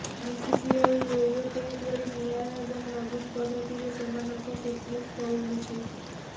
BCCI yo yo test ଭଳି ନିଆରା ଏବଂ ନବୀନ ପଦ୍ଧତିରେ ସେମାନଙ୍କ ଫିଟନେସ୍ ତଉଲୁଛି